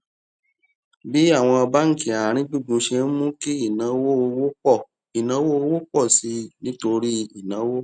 bí àwọn báńkì àárín gbùngbùn ṣe ń mú kí ìnáwó owó pọ ìnáwó owó pọ sí i nítorí ìnáwó